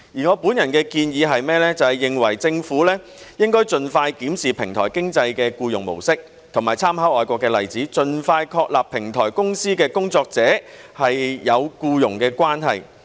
我本人的建議是，政府應該盡快檢視平台經濟的僱用模式，以及參考外國的例子，盡快確立平台公司與平台工作者是有僱傭關係。